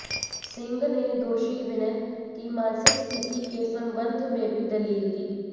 सिंह ने दोषी विनय की मानसिक स्थिति के संबंध में भी दलील दी